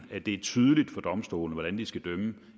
at det er tydeligt for domstolene hvordan de skal dømme